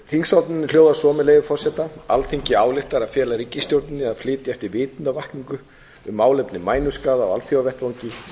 þingsályktunin hljóðar svo með leyfi forseta alþingi ályktar að fela ríkisstjórninni að fylgja eftir vitundarvakningu um málefni mænuskaða á alþjóðavettvangi